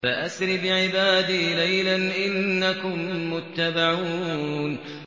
فَأَسْرِ بِعِبَادِي لَيْلًا إِنَّكُم مُّتَّبَعُونَ